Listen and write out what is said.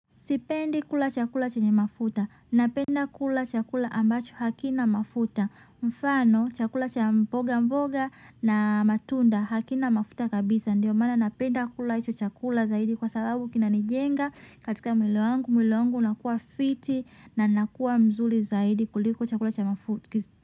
Sipendi kula chakula chenye mafuta, napenda kula chakula ambacho hakina mafuta, mfano chakula cha mboga mboga na matunda hakina mafuta kabisa, ndio maana napenda kula hicho chakula zaidi kwa sababu kinanijenga, katika mwili wangu, mwili wangu unakuwa fiti na nakuwa mzuri zaidi kuliko chakula cha mafuta.